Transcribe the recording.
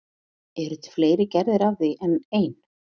Eru til fleiri gerðir af því en ein?